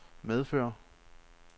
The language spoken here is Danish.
medfører